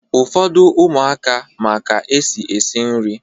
Ụfọdụ ụmụaka ma ka-esi eshi nri